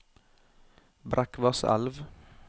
Brekkvasselv